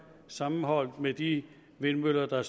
sammenholdt med de vindmøller der